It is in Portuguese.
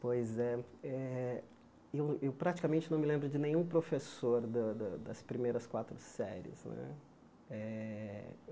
Pois é. Eh eu praticamente não me lembro de nenhum professor da da das primeiras quatro séries né. Eh